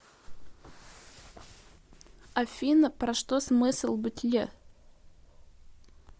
афина про что смысл бытия